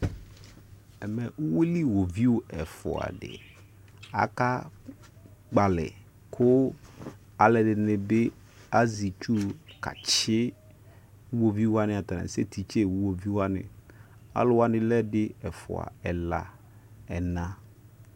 ɛmɛ uwili wovui ɛfuadi akakpalɛ ku alɛdinibi azi etui kasti uwovuiwani ataniasɛtiste uwovuiwani aluwani lɛ ɛdi ɛfua ɛla ɛna